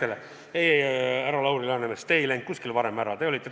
Ei-ei-ei, härra Lauri Läänemets, te ei läinud kuskile varem ära!